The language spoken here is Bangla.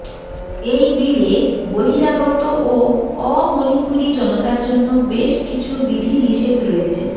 এই বিলে বহিরাগত ও অমণিপুরী জনতার জন্য বেশ কিছু বিধিনিষেধ রয়েছে